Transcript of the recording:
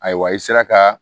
Ayiwa i sera ka